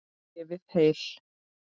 Lifið heil.